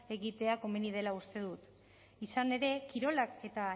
egitea komeni dela uste dut izan ere kirolak eta